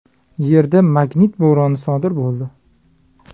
Yerda magnit bo‘roni sodir bo‘ldi.